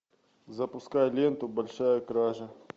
запускай ленту большая кража